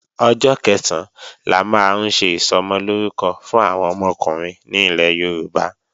Ọjọ́ Kẹ̀sán la máa ń ṣe Ìsọmọlórúkọ fún àwọn ọmọkùnrin ní ilẹ̀ Yorùbá